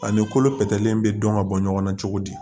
Ani kolo pɛrɛnnen bɛ dɔn ka bɔ ɲɔgɔn na cogo di